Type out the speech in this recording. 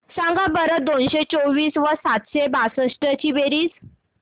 सांगा बरं दोनशे चोवीस व सातशे बासष्ट ची बेरीज